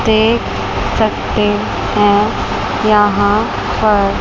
देख सकते हैं यहां पर--